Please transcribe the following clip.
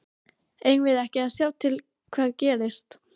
Eigum við ekki að sjá til hvað gerist?